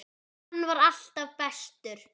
Hann var alltaf bestur.